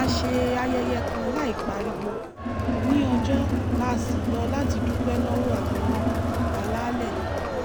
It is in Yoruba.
a ṣe ayẹyẹ kan láìpariwo ní ọjọ́ tá a ṣí lọ láti dúpẹ́ lọ́wọ́ àwọn alálẹ̀